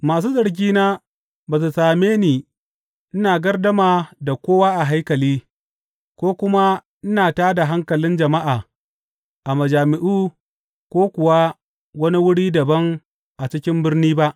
Masu zargina ba su same ni ina gardama da kowa a haikali, ko kuma ina tā da hankalin jama’a a majami’u ko kuwa wani wuri dabam a cikin birni ba.